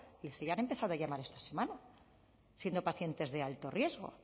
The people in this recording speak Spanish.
si ya han empezado a llamar esta semana siendo pacientes de alto riesgo o